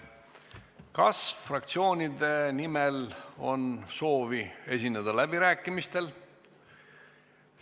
Kas fraktsioonide nimel on soovi esineda läbirääkimistel?